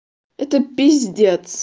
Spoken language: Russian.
это пиздец